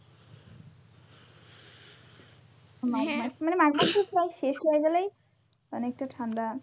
হ্যাঁ মানে মাঘ মাস পুরাই শেষ হয়ে গেলেই অনেকটা ঠান্ডা।